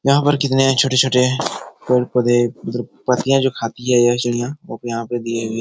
यहाँ पर कितने छोटे-छोटे पेड़-पौधे मतलब पत्तियां जो खाती है यह चिड़ियाँ वह यहाँ पे दिए हुए।